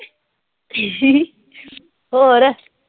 ਹੋਰ